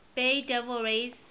bay devil rays